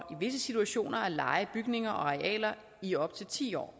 visse situationer at leje bygninger og arealer i op til ti år